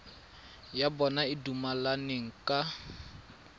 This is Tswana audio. ya bona e dumelaneng ka